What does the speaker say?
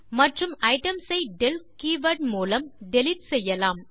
மற்றும் ஐட்டம்ஸ் ஐ del keyword மூலம் டிலீட் செய்யலாம்